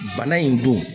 Bana in don